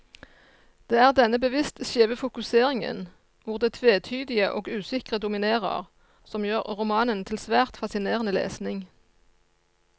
Det er denne bevisst skjeve fokuseringen, hvor det tvetydige og usikre dominerer, som gjør romanen til svært fascinerende lesning.